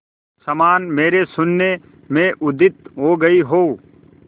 समान मेरे शून्य में उदित हो गई हो